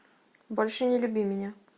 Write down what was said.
больше не люби меня